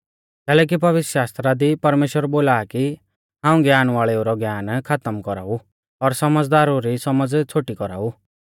कैलैकि पवित्रशास्त्रा दी परमेश्‍वर बोला आ कि हाऊं ज्ञान वाल़ेउ रौ ज्ञान खातम कौराऊ और सौमझ़दारु री सौमझ़ छ़ोटी कौराऊ